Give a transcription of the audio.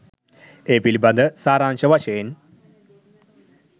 ඒ පිළිබඳ සාරාංශ වශයෙන්